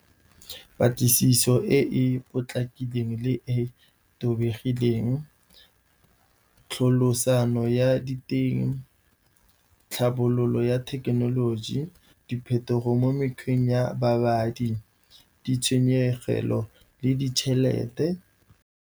Patlisiso e e potlakileng le e tobegileng, tlholosano ya diteng, tlhabololo ya thekenoloji, diphetogo mo mekgweng ya babadi, ditshwenyegelo le ditšhelete.